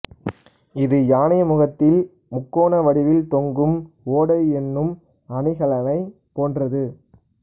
இது யானை முகத்தில் முக்கோண வடிவில் தொங்கும் ஓடை என்னும் அணிகலனைப் போன்றது